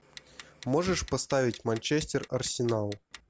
можешь поставить манчестер арсенал